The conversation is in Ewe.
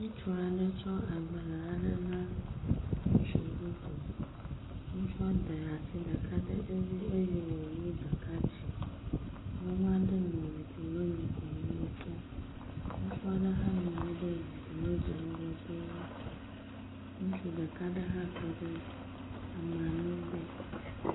Ŋutsu tsɔ agbalẽ aɖe na ŋutsu bubu, ŋutsu da asi ɖeka ɖe dzi eye wòwu ɖeka dzi. Nyɔnu aɖe nɔ zikpui me le wo kpɔm, ŋutsu aɖe hã nɔ anyi ɖe zikpui dzi dze ŋgɔ de wo. Ŋutsu ɖeka aɖe hã tɔ ɖe ameawo gbɔ.